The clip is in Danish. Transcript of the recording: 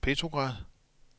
Petrograd